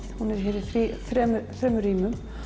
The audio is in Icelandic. hún er hér í þremur rýmum